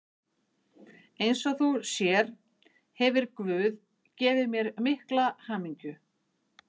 Eins og þú sér hefir guð gefið mér mikla hamingju.